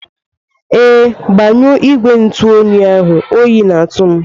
Ee, gbanyụọ igwe ntụ oyi ahụ oyi na-atụ m.